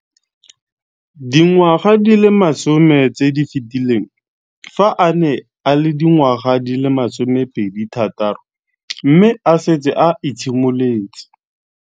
Dingwaga di le 10 tse di fetileng, fa a ne a le dingwaga di le 23 mme a setse a itshimoletse